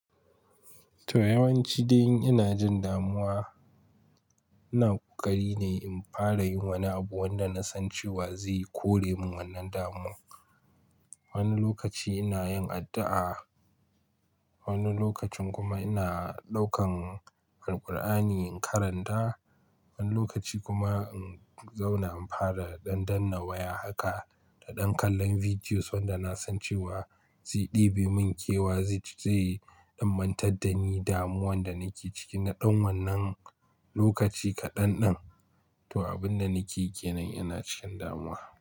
To, yawanci idan ina jin damuwa ina ƙoƙari ne in fara yin wani abu wanda na san cewa zai kore min wannan damuwa. Wani lokaci ina yin addu'a, wani lokacin kuma ina ɗaukan Alqur'ani in karanta, wani lokaci kuma in zauna in fara ɗan danna waya haka da ɗan kallon videos wanda na san cewa zai ɗebe min kewa zai dan mantar da ni damuwar da nake ciki na ɗan wannan lokaci kaɗan ɗan. To, abin da nake kenan ina cikin damuwa.